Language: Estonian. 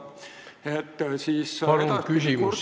Palun küsimus, Jüri Jaanson!